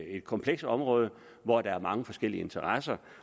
et komplekst område hvor der er mange forskellige interesser